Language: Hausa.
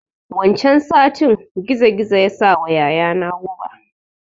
Wancan satin gizo gizo ya sawa yaya na guɓa